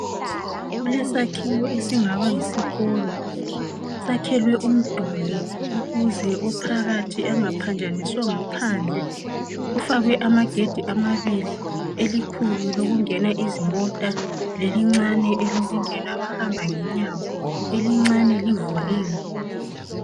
Kulesakhiwo esingaba ngumduli wesikolo sakhelwe phandle ukuthi ophandle engaphazamisi ophakathi ,kufakwe amagedi amabili elikhulu lolungena izimota, lelincane labahamba ngenyawo elikhulu livuliwe.